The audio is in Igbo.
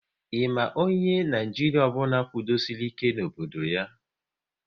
Ị ma onye Naijiria ọbụla kwudosori ike n'obodo ya?